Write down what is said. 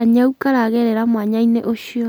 Kanyau karagerera mwanya-inĩ ũcio.